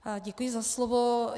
Děkuji za slovo.